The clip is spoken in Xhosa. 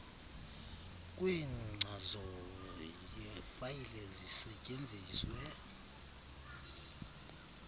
kwenkcazo yefayile zisetyenziswe